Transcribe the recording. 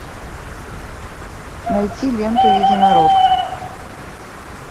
найти ленту единорог